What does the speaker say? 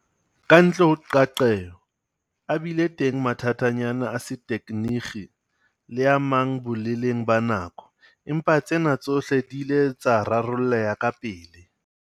Kantle ho qeaqeo, a bile teng mathatanyana a setekgeniki le a mang boleleng ba nako, empa tsena tsohle di ile tsa rarolleha kapele.